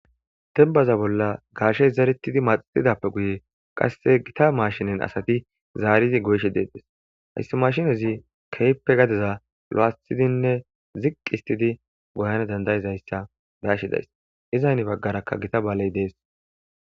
dembaza bolla gaashey zaretidi maxixidappe guye qasse gita maashinen asati zaaridi goyshe deetes hayssi mashinezi keyppe gadeza lo7atidinne ziqq istidi goyana dandayizayssa daashidays izaynni baggarakka gita baaley dees